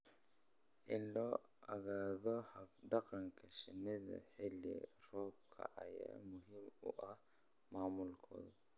In la ogaado hab-dhaqanka shinida xilli roobaadka ayaa muhiim u ah maamulkooda.